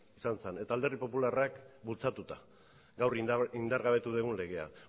izan zen eta alderdi popularrak bultzatuta gaur indargabetu dugun legea